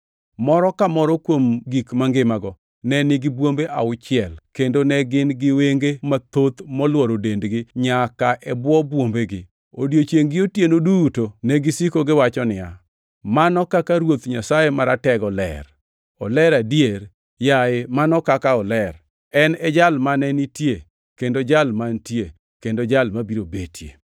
Moro ka moro kuom gik mangimago ne nigi bwombe auchiel kendo ne gin gi wenge mathoth molworo dendgi nyaka e bwo bwombegi. Odiechiengʼ gi otieno duto negisiko kagiwacho niya, “ ‘Mano kaka Ruoth Nyasaye Maratego Ler! Oler adier! Yaye Mano kaka oler.’ + 4:8 \+xt Isa 6:3\+xt* En e Jal mane nitie, kendo Jal mantie, kendo Jal mabiro betie.”